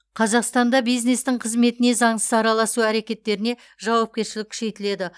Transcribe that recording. қазақстанда бизнестің қызметіне заңсыз араласу әрекеттеріне жауапкершілік күшейтіледі